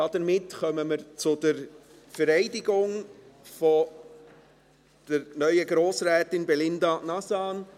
Damit kommen wir zur Vereidigung der neuen Grossrätin Belinda Nazan.